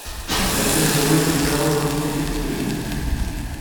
найти на тв телеканал русский экстрим